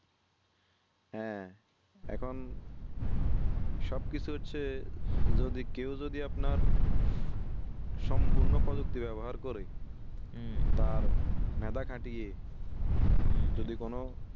হ্যাঁ এখন সব কিসুর চেয়ে যদি কেও যদি আপনার সম্পূর্ণ প্রযুক্তি ব্যবহার করে হম তার মাথা খাটিয়ে যদি কোনো